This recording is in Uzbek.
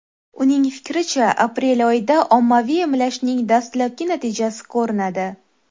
Uning fikricha, aprel oyida ommaviy emlashning dastlabki natijasi ko‘rinadi.